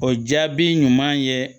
O jaabi ɲuman ye